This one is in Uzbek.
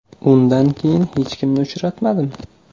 Undan keyin hech kimni uchratmadim.